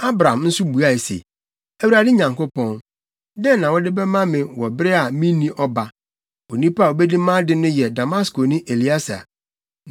Abram nso buae se, “ Awurade Nyankopɔn, dɛn na wode bɛma me wɔ bere a minni ɔba. Onipa a obedi mʼade no yɛ Damaskoni Elieser?”